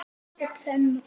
Líka trén og mamma.